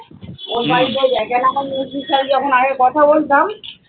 মেজদির সাথে যখন আগে কথা বলতাম